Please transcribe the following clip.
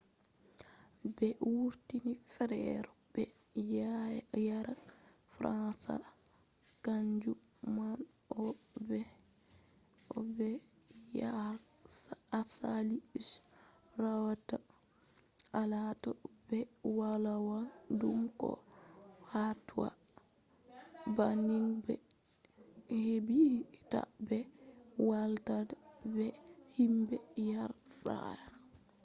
ɓe wurti fere be yara fransa kanju man on bo yare asali je warata latta ɓe ɗo wolwa ɗum ha ko hatoi banning man ɓe heɓa ta be wolda be himɓe yare fere